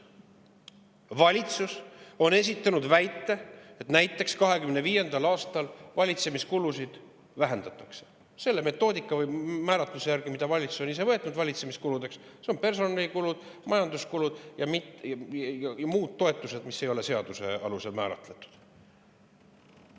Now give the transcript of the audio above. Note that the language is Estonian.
Valitsus on esitanud väite, et näiteks 2025. aastal valitsemiskulusid vähendatakse – selle metoodika või määratluse järgi, mida valitsus ise on valitsemiskuludeks võtnud: personalikulud, majanduskulud ja toetused, mis ei ole seaduse alusel määratletud.